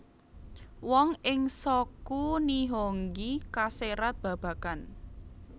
Wonten ing Shoku Nihongi kaserat babagan